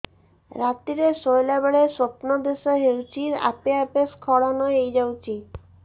ରାତିରେ ଶୋଇଲା ବେଳେ ସ୍ବପ୍ନ ଦୋଷ ହେଉଛି ଆପେ ଆପେ ସ୍ଖଳନ ହେଇଯାଉଛି